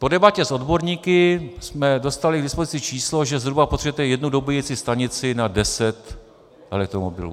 Po debatě s odborníky jsme dostali k dispozici číslo, že zhruba potřebujete jednu dobíjecí stanici na deset elektromobilů.